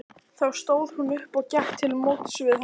Þá stóð hún upp og gekk til móts við hann.